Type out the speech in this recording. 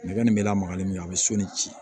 Nɛgɛ min bɛ lamaga ni min an bɛ so ni ci